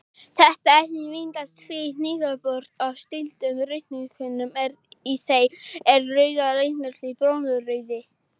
Þetta efni myndast við niðurbrot á slitnum rauðkornum en í þeim er rauða litarefnið blóðrauði.